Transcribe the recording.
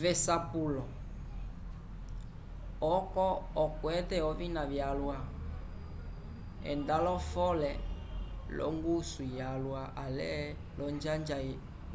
v'esapulo oco okwate ovina vyalwa enda lo-fole l'ongusu yalwa ale